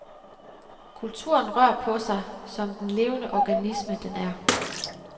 Kulturen rør på sig, som den levende organisme, den er.